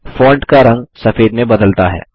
font का रंग सफेद में बदलता है